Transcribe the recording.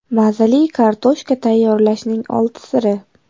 Mazali kartoshka tayyorlashning olti siri.